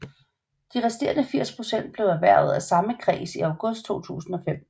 De resterende 80 procent blev erhvervet af samme kreds i august 2005